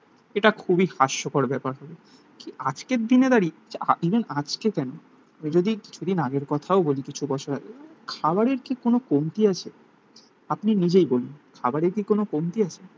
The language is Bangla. এটা খুবই হাস্যকর ব্যাপার হলো. কি আজকের দিনে দাঁড়িয়ে? ইভেন আজকে কেন? ও যদি কিছুদিন আগের কথাও বলি কিছু বছর আগে খাবারের কি কোন কমতি আছে? আপনি নিজেই বলুন. খাবারের কি কোন কমতি আছে?